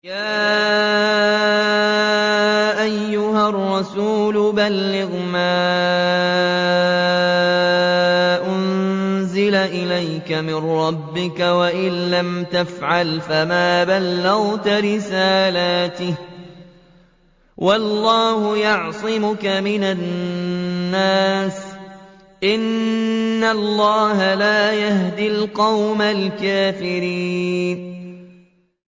۞ يَا أَيُّهَا الرَّسُولُ بَلِّغْ مَا أُنزِلَ إِلَيْكَ مِن رَّبِّكَ ۖ وَإِن لَّمْ تَفْعَلْ فَمَا بَلَّغْتَ رِسَالَتَهُ ۚ وَاللَّهُ يَعْصِمُكَ مِنَ النَّاسِ ۗ إِنَّ اللَّهَ لَا يَهْدِي الْقَوْمَ الْكَافِرِينَ